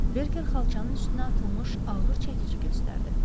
Berker xalçanın üstünə atılmış ağır çəkici göstərdi.